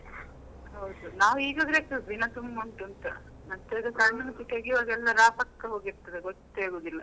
ಹೌದು ನಾವು ಈಗ ಎನಿಸುದು ದಿನ ತುಂಬಾ ಉಂಟು ಅಂತ. ಮತ್ತೆ ಅದು ಕಣ್ಣು ಮುಚ್ಚಿ ತೆಗಿವಾಗ ಎಲ್ಲ ರಪಕ್ಕ ಹೋಗಿರ್ತದೆ ಗೊತ್ತೇ ಆಗುದಿಲ್ಲ.